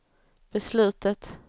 beslutet